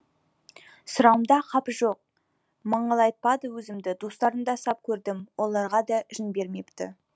сұрауымда қапы жоқ маңайлатпады өзімді достарын да сап көрдім оларға да ішін бермепті